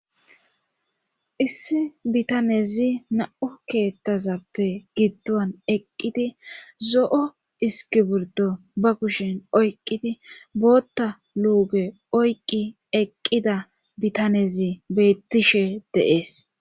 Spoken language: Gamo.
issi bitanezi na7o keettazappe giddowan eqqidi zo7o iski burdo ba kushin oyqqidi bootta luuge oyqqi eqqida bitanezi beyttishe deees